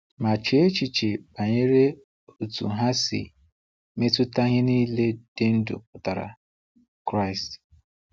Ma chee echiche banyere otú ha si metụta ihe niile dị ndụ pụtara: Kraịst.